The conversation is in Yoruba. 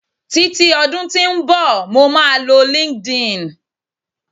titi odun tí nbọ, mo ma lọ linkedin